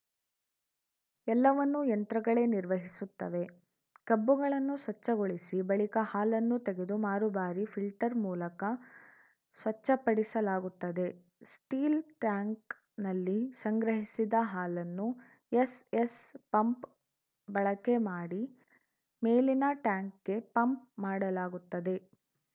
ಎಲ್ಲವನ್ನೂ ಯಂತ್ರಗಳೇ ನಿರ್ವಹಿಸುತ್ತವೆ ಕಬ್ಬುಗಳನ್ನು ಸ್ವಚ್ಛಗೊಳಿಸಿ ಬಳಿಕ ಹಾಲನ್ನು ತೆಗೆದು ಮಾರು ಬಾರಿ ಫಿಲ್ಟರ್‌ ಮೂಲಕ ಸ್ವಚ್ಛಪಡಿಸಲಾಗುತ್ತದೆ ಸ್ಟೀಲ್‌ ಟ್ಯಾಂಕ್‌ನಲ್ಲಿ ಸಂಗ್ರಹಿಸಿದ ಹಾಲನ್ನು ಎಸ್‌ಎಸ್‌ ಪಂಪ್‌ ಬಳಕೆ ಮಾಡಿ ಮೇಲಿನ ಟ್ಯಾಂಕ್‌ಗೆ ಪಂಪ್‌ ಮಾಡಲಾಗುತ್ತದೆ